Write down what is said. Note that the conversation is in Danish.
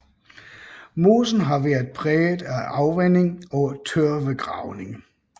Mosen har været præget af afvanding og tørvegravning